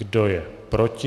Kdo je proti?